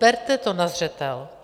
Berte to na zřetel.